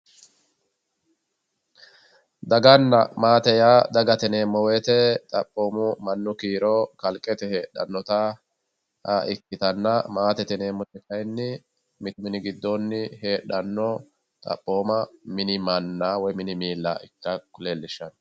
daganna maate yaa dagate yineemmo woyte xaphooma mannu kiiro kalqete heedhanota ikkitanna maatete yineemmoti kayinni mittu minni giddoonni heedhanno manna woy miilla ikka leellishshanno